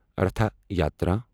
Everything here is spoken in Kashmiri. رٹھایاترا